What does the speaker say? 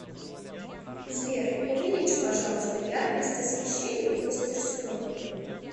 сбер увеличь пожалуйста яркость освещения в мастерской